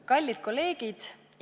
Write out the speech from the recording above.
Kallid kolleegid!